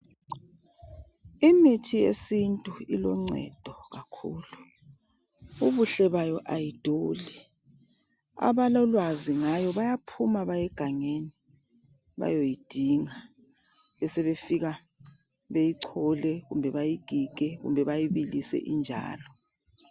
Imithi yesintu iloncedo kakhulu, ubuhle bayo ayiduli. Abalolwazi ngayo bayaphuma baye gangeni bayoyidinga besebefika beyichole kumbe bayigige kumbe bayibilise injalo.